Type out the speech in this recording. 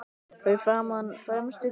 Fyrir framan fremstu hvítu kúluna.